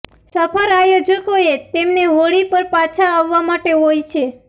સફર આયોજકોએ તેમને હોડી પર પાછા આવવા માટે હોય છે